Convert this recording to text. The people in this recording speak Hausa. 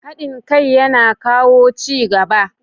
Haɗin kai yana kawo ci gaba.